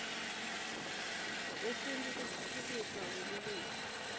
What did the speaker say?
kwesintfu nekutfutfukiswa kwelulwimi